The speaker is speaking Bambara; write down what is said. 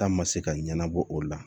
Taa ma se ka ɲɛnabɔ o la